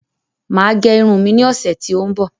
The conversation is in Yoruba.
Màá gẹ Irun mi ní ọ̀sẹ̀ tí ó ń bọ̀.